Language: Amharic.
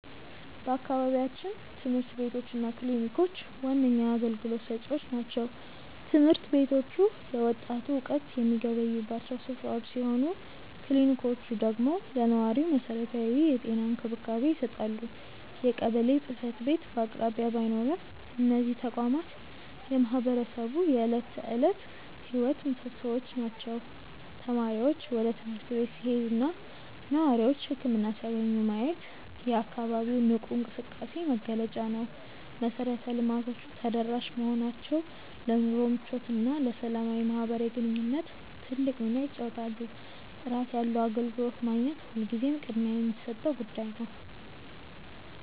በአካባቢያችን ትምህርት ቤቶች እና ክሊኒኮች ዋነኛ አገልግሎት ሰጪዎች ናቸው። ትምህርት ቤቶቹ ለወጣቱ እውቀት የሚገበዩባቸው ስፍራዎች ሲሆኑ፣ ክሊኒኮቹ ደግሞ ለነዋሪው መሰረታዊ የጤና እንክብካቤ ይሰጣሉ። የቀበሌ ጽሕፈት ቤት በአቅራቢያ ባይኖርም፣ እነዚህ ተቋማት የማህበረሰቡ የዕለት ተዕለት ሕይወት ምሶሶዎች ናቸው። ተማሪዎች ወደ ትምህርት ቤት ሲሄዱና ነዋሪዎች ህክምና ሲያገኙ ማየት የአካባቢው ንቁ እንቅስቃሴ መገለጫ ነው። መሰረተ ልማቶቹ ተደራሽ መሆናቸው ለኑሮ ምቾትና ለሰላማዊ ማህበራዊ ግንኙነት ትልቅ ሚና ይጫወታሉ። ጥራት ያለው አገልግሎት ማግኘት ሁልጊዜም ቅድሚያ የሚሰጠው ጉዳይ ነው።